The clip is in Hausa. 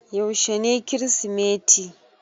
Yaushe ne Kirsimeti?